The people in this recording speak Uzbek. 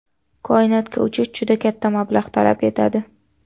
Koinotga uchish juda katta mablag‘ talab etadi.